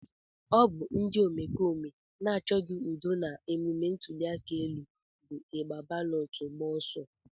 Ọ bụ ndị omekome na-achọghị udo na emume ntụliaka bụ igbe balọtụ agba ọsọ.